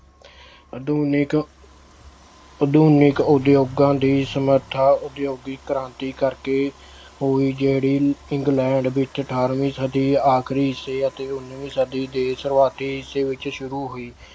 ਆਧੁਨਿਕ ਆਧੁਨਿਕ ਉਦਯੋਗਾਂ ਦੀ ਸਮਰੱਥਾ ਉਦਯੋਗਿਕ ਕ੍ਰਾਂਤੀ ਕਰਕੇ ਹੋਈ ਜਿਹੜੀ England ਵਿੱਚ ਅਠਾਰਵੀਂ ਸਦੀ ਆਖਰੀ ਸੀ ਅਤੇ ਉੱਨਵੀਂ ਸਦੀ ਦੇ ਸ਼ੁਰੂਆਤੀ ਹਿੱਸੇ ਵਿੱਚ ਸ਼ੁਰੂ ਹੋਈ।